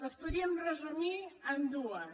les podríem resumir en dues